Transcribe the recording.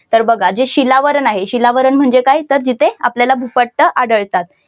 तर बघा जे शिलावरण आहे शिलावरण म्हणजे काय तर जिथे आपल्याला भूपट्ट आढळतात.